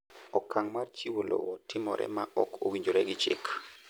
Okang' mar chiwo lowo timore ma ok owinjore gi chik.